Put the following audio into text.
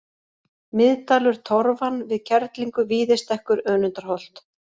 Miðdalur Torfan, Við Kerlingu, Víðistekkur, Önundarholt